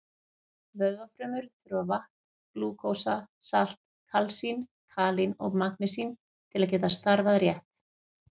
Vöðvafrumur þurfa vatn, glúkósa, salt, kalsín, kalín og magnesín til að geta starfað rétt.